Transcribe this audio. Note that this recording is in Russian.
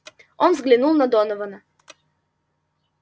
он взглянул на донована